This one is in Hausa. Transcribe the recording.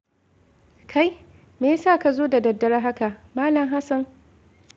Kai! Me ya sa ka zo da daddare haka, Malam Hassan?